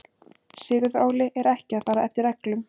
Sigurður Óli er ekki að fara eftir reglum.